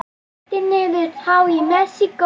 Tylltir niður tá í Mexíkó.